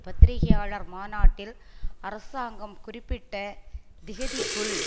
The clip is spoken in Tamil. பத்திரிகையாளர் மாநாட்டில் அரசாங்கம் குறிப்பிட்ட திகதிக்குள்